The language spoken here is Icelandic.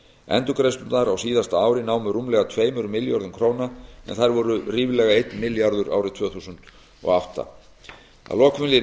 endurgreiðslurnar á síðasta ári námu rúmlega tveimur milljörðum króna en þær voru ríflega einn milljarður árið tvö þúsund og átta að lokum vil ég